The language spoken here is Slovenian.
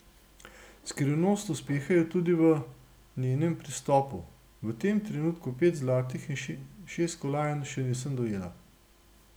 Skrivnost uspeha je tudi v njenem pristopu: 'V tem trenutku pet zlatih in šest kolajn še nisem dojela.